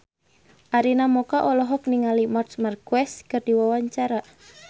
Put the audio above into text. Arina Mocca olohok ningali Marc Marquez keur diwawancara